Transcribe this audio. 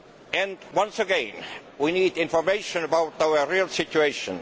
And, once again, we need information about our real situation.